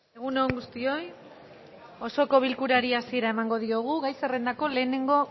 egun on guztioi osoko bilkurari hasiera emango diogu gai zerrendako lehenengo